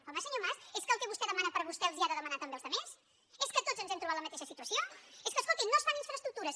home senyor mas és que el que vostè demana per a vostè els ho ha de demanar també als altres és que tots ens hem trobat la mateixa situació és que escoltin no es fan infraestructures